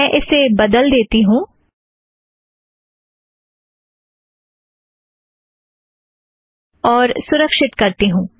मैं इसे बदल देती हूँ और सुरक्षीत करती हूँ